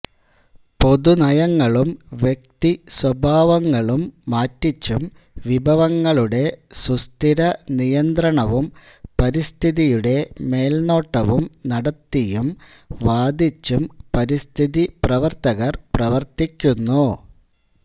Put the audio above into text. പൊതു നയങ്ങളും വ്യക്തി സ്വഭാവങ്ങളും മാറ്റിച്ചും വിഭവങ്ങളുടെ സുസ്ഥിരനിയന്ത്രണവും പരിസ്ഥിതിയുടെ മേൽനോട്ടവും നടത്തിയും വാദിച്ചും പരിസ്ഥിതിപ്രവർത്തകർ പ്രവർത്തിക്കുന്നു